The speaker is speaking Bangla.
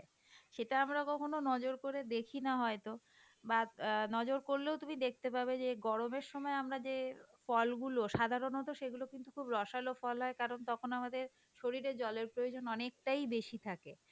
সেটা আমরা কখনো নজর করে দেখি না হয়তো বাহঃ নজর করলেও তুমি দেখতে পাবে এই যে গরমের সময় আমরা যে ফলগুলো সাধারণত সেগুলো কিন্তু খুব রসালো ফল হয় কারণ তখন আমাদের শরীরের জলের প্রয়োজন অনেকটাই বেশি থাকে,